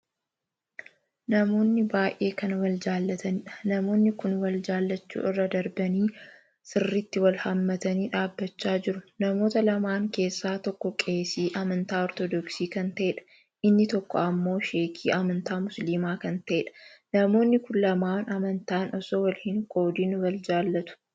Namoonni baay'ee kan wal jaallataniidha. namoonni kun wal jaallachuu irra darbanii sirriitti wal hammatanii dhaabbachaa jiru. namoota lamaan keessaa tokko qeesii amantaa ortodoksii kan taheedha, inni tokko ammoo sheekii amantaa musilaamaa kan ta'eedha. namoonii kun lamaan amantaan osoo wal hin qoodin wal jaallatu.